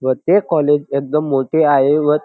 व ते कॉलेज एकदम मोठे आहे व--